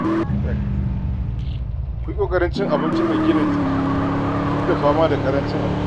Ku yi ƙoƙarin cin abinci mai gina jiki duk da fama da ƙaranci abincin.